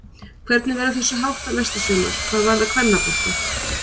Hvernig verður þessu háttað næsta sumar hvað varðar kvennabolta?